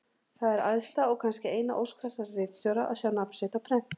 Það er æðsta og kannski eina ósk þessara ritstjóra að sjá nafn sitt á prenti.